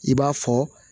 I b'a fɔ